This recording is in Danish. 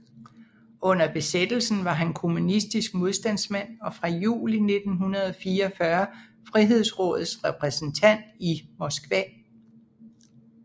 Under besættelsen var han kommunistisk modstandsmand og fra juli 1944 Frihedsrådets repræsentant i Moskva